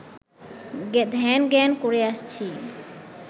ধ্যান-জ্ঞান করে আসছি